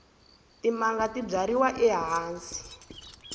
timanga ti byariwa ehansi